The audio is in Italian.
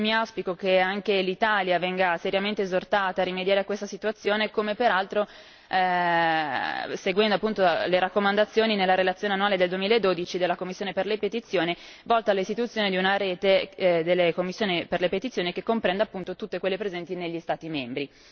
Auspico che anche l'Italia venga seriamente esortata a rimediare a questa situazione, come peraltro seguendo appunto le raccomandazioni nella relazione annuale del 2012 della commissione per le petizioni volta all'istituzione di una rete delle commissioni per le petizioni che comprenda tutte quelle presenti negli Stati membri.